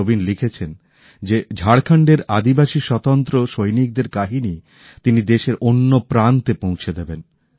নবীন লিখেছেন যে ঝাড়খণ্ডের আদিবাসী স্বতন্ত্র সৈনিকদের কাহিনী তিনি দেশের অন্য প্রান্তে পৌঁছে দেবেন